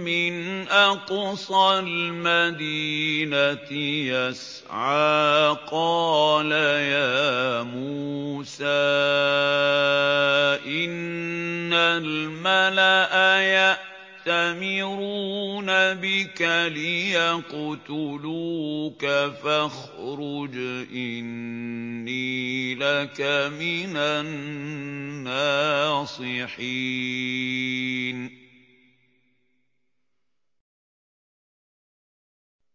مِّنْ أَقْصَى الْمَدِينَةِ يَسْعَىٰ قَالَ يَا مُوسَىٰ إِنَّ الْمَلَأَ يَأْتَمِرُونَ بِكَ لِيَقْتُلُوكَ فَاخْرُجْ إِنِّي لَكَ مِنَ النَّاصِحِينَ